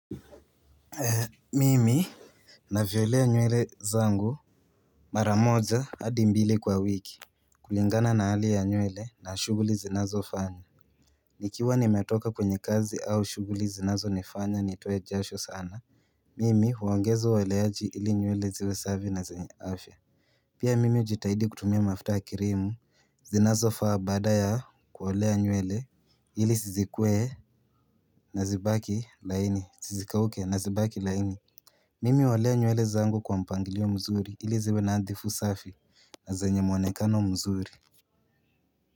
Mimi Navyolea nywele zangu Mara moja hadi mbili kwa wiki kulingana na hali ya nywele na shuguli zinazo fanya nikiwa nimetoka kwenye kazi au shuguli zinazo nifanya nitoe jasho sana Mimi huongezo ueleaji ili nywele ziwe safi na zenye afya Pia mimi ujitahidi kutumia mafuta ya kirimu zinazo faa badaa ya kuolea nywele ili zizikuwe na zibaki laini zisikauke na zibaki laini Mimi holea nywele zangu kwa mpangilio mzuri ili ziwe nadhifu safi na zenye muonekano mzuri.